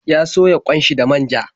Ya soya ƙwan shi da manja.